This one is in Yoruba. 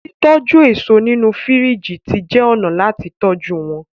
titoju eso nínú firiji tí jé ọnà láti tọjú wón.